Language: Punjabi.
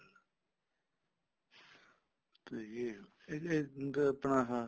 ਠੀਕ ਆ ਜੀ ਇਹਦੇ ਚ ਆਪਣਾ ਆਹ